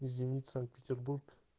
зенит санкт-петербург